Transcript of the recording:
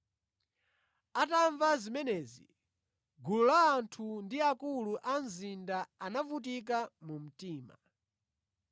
Atamva zimenezi, gulu la anthu ndi akulu a mzinda anavutika mu mtima.